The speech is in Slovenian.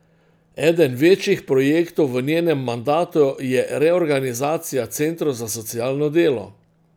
Eden večjih projektov v njenem mandatu je reorganizacija centrov za socialno delo.